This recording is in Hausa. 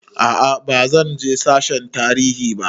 A'a bazan je sashen tarihi ba